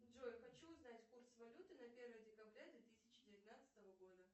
джой хочу узнать курс валюты на первое декабря две тысячи девятнадцатого года